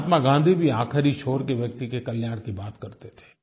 महात्मा गाँधी भी आखिरी छोर के व्यक्ति के कल्याण की बात करते थे